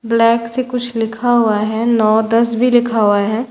Black से कुछ लिखा हुआ हैं नौ दस भी लिखा हुआ हैं।